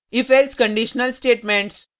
ifelse conditional statements